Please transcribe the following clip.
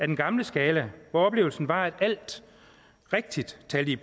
den gamle skala hvor oplevelsen var at alt rigtigt talte